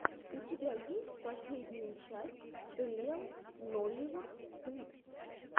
у тебя есть последняя часть риэл нолливуд клипс